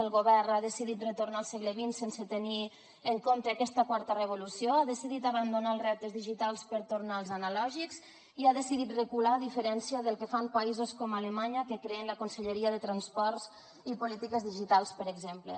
el govern ha decidit retornar al segle xx sense tenir en compte aquesta quarta revolució ha decidit abandonar els reptes digitals per tornar als analògics i ha decidit recular a diferència del que fan països com alemanya que creen la conselleria de transports i polítiques digitals per exemple